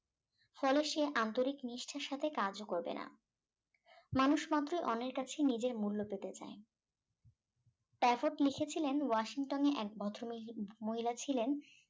ফলে সে আন্তরিক নিষ্ঠার সাথে কাজও করবে না মানুষ মাত্রই অন্যের কাছে নিজের মূল্য পেতে চায় স্ট্রাটফোর্ড লিখেছিলেন ওয়াশিংটনে লিখেছিলেন এক ভদ্র ম মহিলা ছিলেন